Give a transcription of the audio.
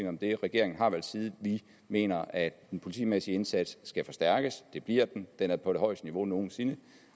om det regeringen har valgt side vi mener at den politimæssige indsats skal forstærkes det bliver den den er på det højeste niveau nogen sinde